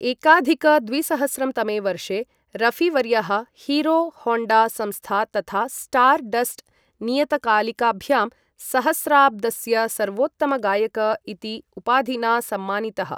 एकाधिक द्विसहस्रं तमे वर्षे, रफीवर्यः हीरो होण्डा संस्था तथा स्टार् डस्ट् नियतकालिकाभ्यां सहस्राब्दस्य सर्वोत्तमगायक इति उपाधिना सम्मानितः।